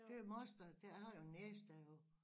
Det er moster der har jeg en niece der jo